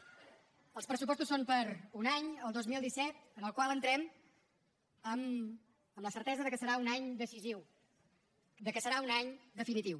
els pressupostos són per a un any el dos mil disset en el qual entrem amb la certesa que serà un any decisiu que serà un any definitiu